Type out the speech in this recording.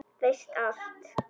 Veist allt.